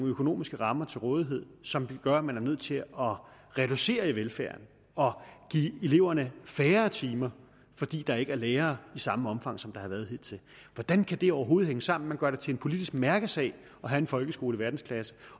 økonomiske rammer til rådighed som gør at man er nødt til at reducere i velfærden og at give eleverne færre timer fordi der ikke er lærere i samme omfang som der har været hidtil hvordan kan det overhovedet hænge sammen at man gør det til en politisk mærkesag at have en folkeskole i verdensklasse